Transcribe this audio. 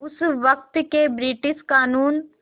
उस वक़्त के ब्रिटिश क़ानून